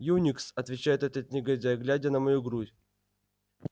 юникс отвечает этот негодяй глядя на мою грудь